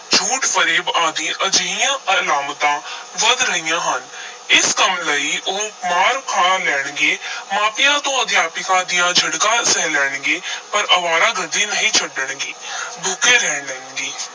ਝੂਠ-ਫਰੇਬ ਆਦਿ ਅਜਿਹੀਆਂ ਅਲਾਮਤਾਂ ਵੱਧ ਰਹੀਆਂ ਹਨ ਇਸ ਕੰਮ ਲਈ ਉਹ ਮਾਰ ਖਾ ਲੈਣਗੇ ਮਾਪਿਆਂ ਤੇ ਅਧਿਆਪਕਾਂ ਦੀਆਂ ਝਿੜਕਾਂ ਸਹਿ ਲੈਣਗੇ ਪਰ ਅਵਾਰਾਗਰਦੀ ਨਹੀਂ ਛੱਡਣਗੇ ਭੁੱਖੇ ਰਹਿ ਲੈਣਗੇ।